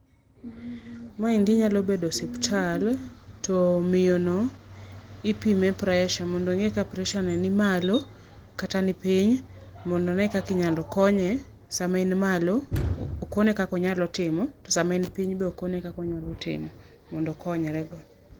Maendi nyalo bedo osipta, to miyo no ipime pressure mondo ongi ka pressure ne ni malo kata ni piny mondo one kaka inyalo konye sama en malo okone kaka onyalo timo, to sama en piny bende okone kaka onyalo timo mondo okonyre go.